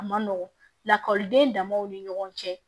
A ma nɔgɔn lakɔliden damaw ni ɲɔgɔn cɛ